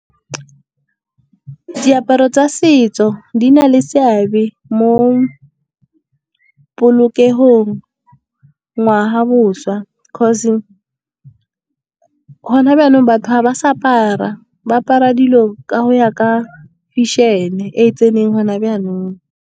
Diaparo tsa setso di na le seabe mo polokegong, ngwaga, bošwa 'cause gona jaanong, batho ga ba sa apara, ba apara dilo ka go ya ka fashion-e e tseneng gona jaanong.